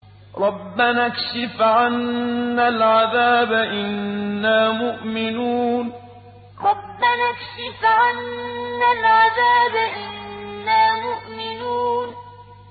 رَّبَّنَا اكْشِفْ عَنَّا الْعَذَابَ إِنَّا مُؤْمِنُونَ رَّبَّنَا اكْشِفْ عَنَّا الْعَذَابَ إِنَّا مُؤْمِنُونَ